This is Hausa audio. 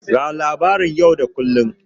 Ga labaran yau da kullun.